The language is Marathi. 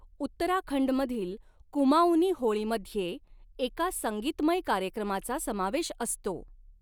उत्तराखंडमधील कुमाऊनी होळीमध्ये एका संगीतमय कार्यक्रमाचा समावेश असतो.